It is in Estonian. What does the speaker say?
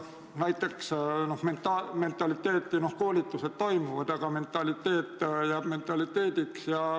Koolitused küll toimuvad, aga mentaliteet jääb mentaliteediks.